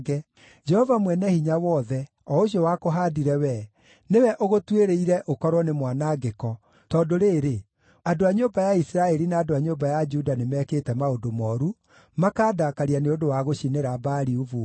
Jehova Mwene-Hinya-Wothe, o ũcio wakũhaandire wee, nĩwe ũgũtuĩrĩire ũkorwo nĩ mwanangĩko, tondũ rĩrĩ, andũ a nyũmba ya Isiraeli na andũ a nyũmba ya Juda nĩmekĩte maũndũ mooru, makaandakaria nĩ ũndũ wa gũcinĩra Baali ũbumba.